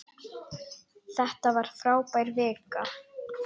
Þetta var frábær vika.